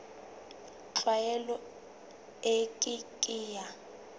tlwaelo e ke ke ya